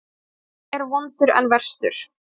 Fyrri er vondur en verstur.